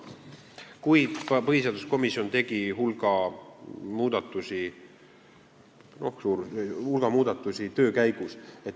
Kuid ka põhiseaduskomisjon tegi töö käigus hulga muudatusi.